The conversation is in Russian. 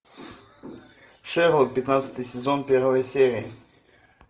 шерлок пятнадцатый сезон первая серия